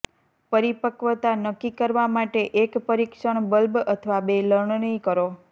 પરિપક્વતા નક્કી કરવા માટે એક પરીક્ષણ બલ્બ અથવા બે લણણી કરો